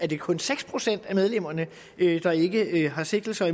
det kun seks procent af medlemmerne der ikke har sigtelser